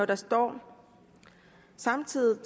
der står samtidig